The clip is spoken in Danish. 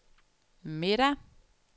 middag